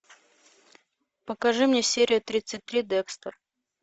покажи мне серия тридцать три декстер